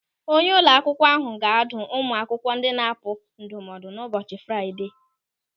Onye ụlọ akwụkwọ ahụ ga-adụ ụmụ akwụkwọ ndị na-apụapụ ndụmọdụ n'ụbọchị Fraịdee.